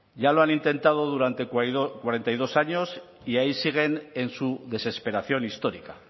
ya lo han intentado durante cuarenta y dos años y ahí siguen en su desesperación histórica